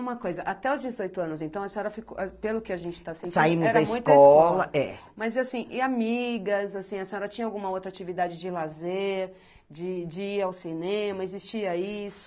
Uma coisa, até os dezoito anos, então, a senhora ficou, pelo que a gente está sentindo... Saímos da escola, é. Mas, assim, e amigas, assim, a senhora tinha alguma outra atividade de lazer, de de ir ao cinema, existia isso?